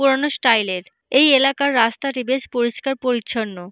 পুরানো স্টাইল এর এই এলাকার রাস্তাটি বেশ পরিষ্কার পরিচ্ছন্ন।